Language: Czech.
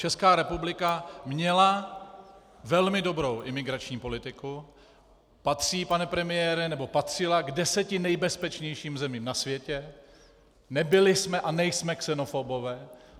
Česká republika měla velmi dobrou imigrační politiku, patří, pane premiére, nebo patřila k deseti nejbezpečnějším zemím na světě, nebyli jsme a nejsme xenofobové.